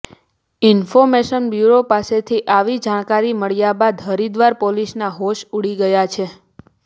information bureau પાસેથી આવી જાણકારી મળ્યા બાદ હરિદ્વાર પોલીસના હોશ ઉડી ગયા છે